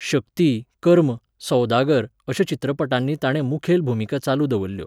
'शक्ती', 'कर्म', 'सौदागर' अश्या चित्रपटांनी ताणें मुखेल भुमिका चालू दवरल्यो.